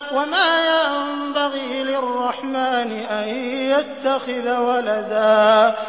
وَمَا يَنبَغِي لِلرَّحْمَٰنِ أَن يَتَّخِذَ وَلَدًا